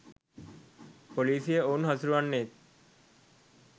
පොලිසිය ඔවුන් හසුරුවන්නේත්